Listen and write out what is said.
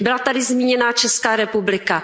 Byla tady zmíněná Česká republika.